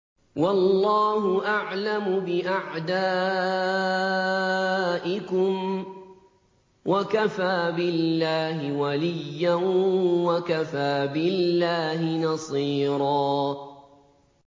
وَاللَّهُ أَعْلَمُ بِأَعْدَائِكُمْ ۚ وَكَفَىٰ بِاللَّهِ وَلِيًّا وَكَفَىٰ بِاللَّهِ نَصِيرًا